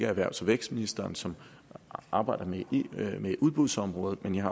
erhvervs og vækstministeren som arbejder med udbudsområdet men jeg